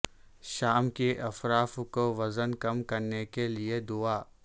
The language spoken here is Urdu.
شام کی افراف کو وزن کم کرنے کے لئے دعا